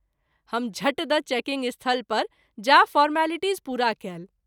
हम झट द’ चेकिंग स्थल पर जाय फॉरमलिटीज पूरा कएल।